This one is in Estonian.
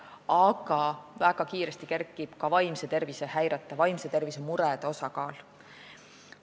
Aga väga kiiresti kerkib ka vaimse tervise häirete, vaimse tervise murede osakaal.